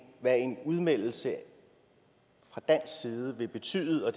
udmeldelse fra dansk side vil betyde og